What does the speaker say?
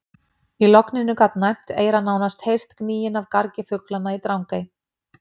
Í logninu gat næmt eyra nánast heyrt gnýinn af gargi fuglanna í Drangey.